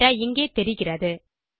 data இங்கே தெரிகிறது